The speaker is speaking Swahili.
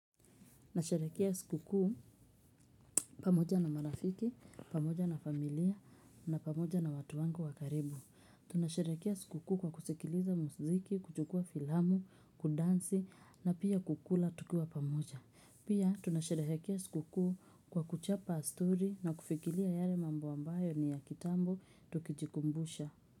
Nasherehekea siku kuu pamoja na marafiki, pamoja na familia na pamoja na watu wangu wa karibu. Tunasherehekea siku kuu kwa kusikiliza muziki, kuchukua filamu, kudansi na pia kukula tukiwa pamoja. Pia tunasherehekea siku kuu kwa kuchapa story na kufikiria yale mambo ambayo ni ya kitambo tukijikumbusha.